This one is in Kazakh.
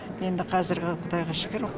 енді қазір құдайға шүкір